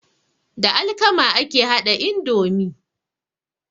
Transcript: Da alkama ake haɗa indomi.